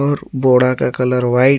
और बोडा का कलर व्हाइट --